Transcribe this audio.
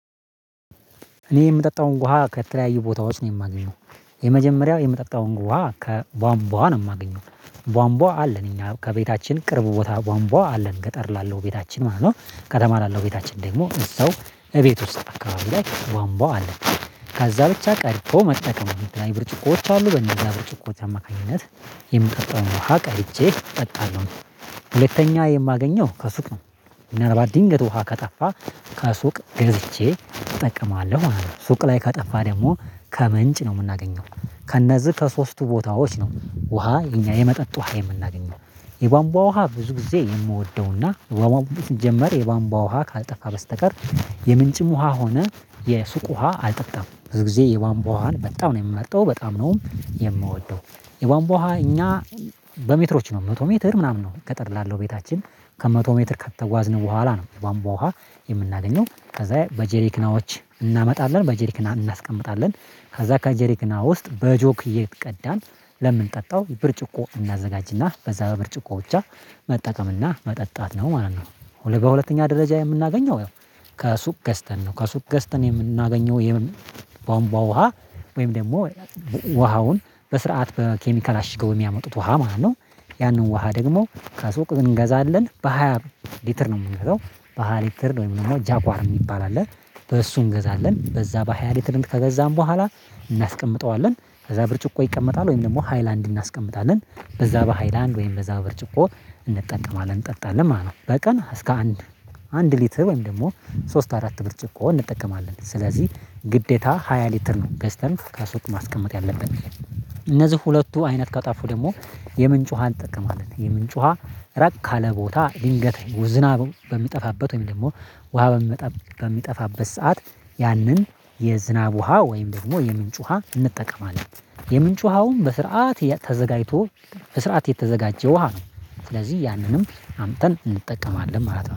እኔ የምጠጣውን ውሃ ከተለያዩ ቦታዎች ነው የማገኘው የመጀመሪያው የምጠጣውን ውሃ ከቧንቧ ነው የማገኘው ቧንቧ አለን እኛ ከቤታችን ቅርብ ቦታ ቧንቧ አለን ገጠር ላለው ቤታችን ማለት ነው። ከተማ ላለው ቤታችን ደግሞ እዛው እቤት ውስጥ አካባቢ ላይ ቧንቧ አለ። ከዛ ብቻ ቀድቶ መጠቀም የተለያዩ ብርጭቆዎች አሉ በነዛ ብርጭቆዎች አማካኝነት የምጠቀመውን ውሃ ቀድቼ እጠጣለሁ። ሁለተኛ የማገኘው ከሱቅ ነው። ምናልባት ድንገት ውሃ ከጠፋ ከሱቅ ገዝቼ እጠቀማለሁ ማለት ነው። ሱቅ ላይ ከጠፋ ደግሞ ከምንጭ ነው የምናገኘው ከእነዚህ ከሶስቱ ቦታዎች ነው ውሃ የኛ የመጠጥ ውሃ የምናገኘው። የባንቧ ውሃ ብዙ ጊዜ የምወደው እና ወማውም ሲጀመር የቧንቧ ውሃ ካልጠፋ በስተቀር የምንጭም ውሃ ሆነ የሱቅ ውሃ አልጠጣም በዙ ጊዜ የቧንቧ ውሃን በጣም ነው የምመርጠው በጣም ነው የምወደው። የቧንቧ ውሃ እኛ በሜትሮች ነው መቶ ሜትር ምናምን ነው ገጠር ላለው ቤታችን ከመቶ ሜትር ከተጓዝን በኋላ ነው የቧንቧ ውሃ። የምናገኘው ከዛ በጀሪክናዎች እናመጣለን በጀሪክና እናስቀምጣለን ካዛ ከጀሪክና ውስጥ በጆክ እየቀዳን ለምንጠጣው ብርጭቆ እናዘጋጅ እና በዛ በብርጭቆ ብቻ መጠቀም እና መጠጣት ነው ማለት ነው። በሁለተኛ ደረጃ የምናገኘው ያው ከሱቅ ገዝተን ነው ከሱቅ ገዝተን የምናገኘው የምን ቧንቧ ውሃ ወይም ደግሞ ውሃውን በስርዓት በኬሚካል አሽገው የሚያመጡት ውሃ ማለት ነው። ያንን ውሃ ደግሞ ከሱቅ እንገዛለን በሃያ ሊትር ነው የምንገዛው በሃያ ሊትር ወይም ደግሞ ጃጓር ነው የሚባል አለ። በሱ እንገዛለን በዛ በሃይ ሊትር ከገዛን በኋላ እናስቀምጠዋለን ከዛ ብርጭቆ ይቀመጣል ወይም ደግሞ ሃይላንድ እናስቀምጣለን በዛ በሃይላንድ ወይም በዛ በብርጭቆ እንጠቀማለን እንጠጣለን ማለት ነው። በቀን እስከ አንድ አንድ ሊትር ወይም ደግሞ ሶስት አራት ብርጭቆ እንጠቀማለን ስለዚህ ግዴታ ሃያ ሊትር ነው ገዝተን ከሱቅ ማስቀመጥ ያለብን። እነዚህ ሁለቱ አይነት ከጠፉ ደግሞ የምንጭ ውሃን እንጠቀማለን የምንጭ ውሃ ራቅ ካለ ለቦታ ድንገት ዝናቡ በሚጠፋበት ወይም ደግሞ ውሃ በሚመጣበት በሚጠፋበት ሰዓት ያንን የዝናብ ውሃ ወይም ደግሞ የምንጭ ውሃ እንጠቀማለን። የምንጭ ውሃውን በስርዓት ተዘጋጅቶ በስርዓት የተዘጋጀ ውሃ ነው ስለዚህ ያንንም አምጥተን እንጠቀማለን ማለት ነው